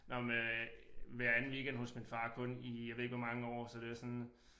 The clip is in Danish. Nåh men øh hver anden weekend hos min far kun i jeg ved ikke hvor mange år så det var sådan